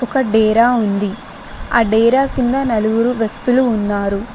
ఒక డేరా ఉంది ఆ డేరా కింద నలుగురు వ్యక్తులు ఉన్నారు.